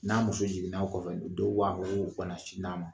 N'a muso jigina ɔ kɔfɛ, dɔw b'a fɔ ko kana sin d'a ma.